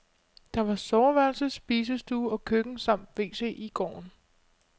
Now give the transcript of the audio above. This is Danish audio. Der var soveværelse, spisestue og køkken samt wc i gården.